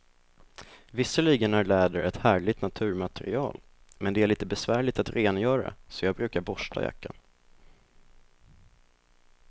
Visserligen är läder ett härligt naturmaterial, men det är lite besvärligt att rengöra, så jag brukar borsta jackan.